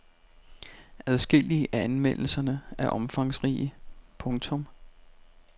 Adskillige af anmeldelserne er omfangsrige. punktum